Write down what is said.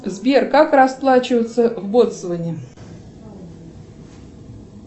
сбер как расплачиваться в ботсване